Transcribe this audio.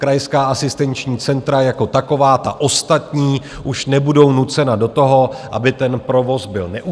Krajská asistenční centra jako taková, ta ostatní, už nebudou nucena do toho, aby ten provoz byl neustálý.